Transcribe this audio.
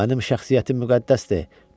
Mənim şəxsiyyətim müqəddəsdir!